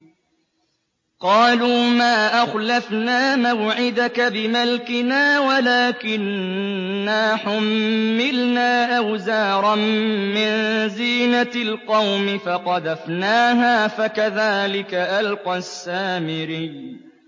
قَالُوا مَا أَخْلَفْنَا مَوْعِدَكَ بِمَلْكِنَا وَلَٰكِنَّا حُمِّلْنَا أَوْزَارًا مِّن زِينَةِ الْقَوْمِ فَقَذَفْنَاهَا فَكَذَٰلِكَ أَلْقَى السَّامِرِيُّ